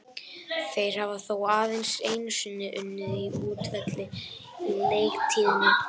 Þeir hafa þó aðeins einu sinni unnið á útivelli á leiktíðinni.